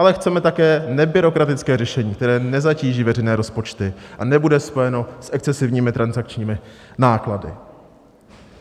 Ale chceme také nebyrokratické řešení, které nezatíží veřejné rozpočty a nebude spojeno s excesivními transakčními náklady.